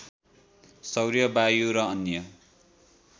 सौर्य वायु र अन्य